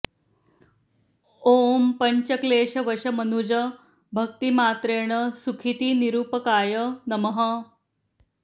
ॐ पञ्चक्लेश वश मनुज भक्ति मात्रेण सुखीति निरूपकाय नमः